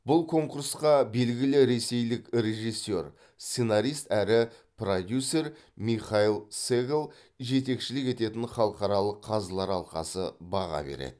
бұл конкурсқа белгілі ресейлік режиссер сценарист әрі продюсер михаил сегал жетекшілік ететін халықаралық қазылар алқасы баға береді